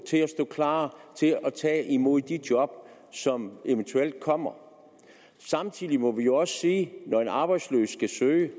til at stå klar til at tage imod de job som eventuelt kommer samtidig må vi også sige at når en arbejdsløs skal søge